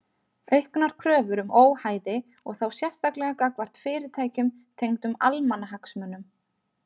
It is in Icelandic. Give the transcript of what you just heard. Auknar kröfur um óhæði og þá sérstaklega gagnvart fyrirtækjum tengdum almannahagsmunum.